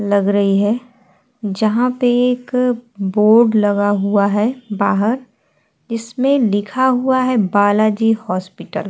लग रही है जहां पे एक बोर्ड लगा हुआ है बाहर। इसमें लिखा हुआ है बालाजी हॉस्पिटल ।